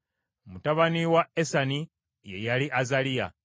Mutabani wa Esani ye yali Azaliya.